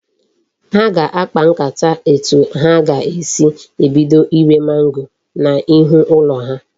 Ha ga akpa nkata etu ha ga esi ebido ire mango na ihu ulo ha